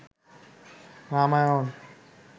Ramayana